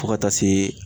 Fo ka taa se